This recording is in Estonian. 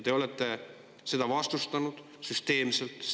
Te olete seda vastustanud süsteemselt.